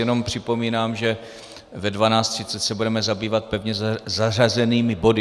Jenom připomínám, že ve 12.30 se budeme zabývat pevně zařazenými body.